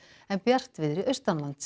en bjartviðri